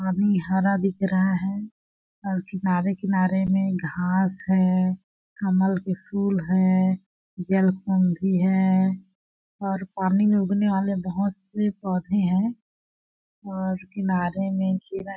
पानी हरा दिख रहा है और किनारे-किनारे में घास है कमल के फूल है जलकुंभी है और पानी में उगने वाले बहोत से पौधे हैं और किनारे में जीव --